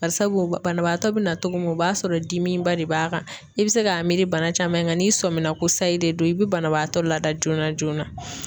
Barisabu banabaatɔ bɛna togo min o b'a sɔrɔ dimiba de b'a kan i bɛ se k'a miiri bana caman kan n'i sɔmina ko sayi de don i bɛ banabaatɔ lada joona joona.